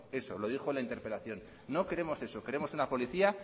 eso lo dijo en la interpelación no queremos eso queremos una policía